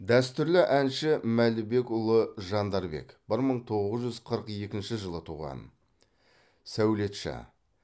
дәстүрлі әнші мәлібекұлы жандарбек бір мың тоғыз жүз қырық екінші жылы туған сәулетші